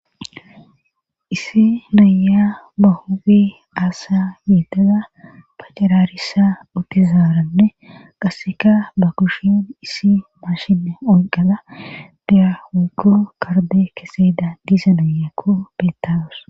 Issi naya ba huubi aasa miitaza paccaraarissa utizaaranne qasseka ba kushiyon issi mashine onqada diyawuko karde keseda diisa nayakko bettawus.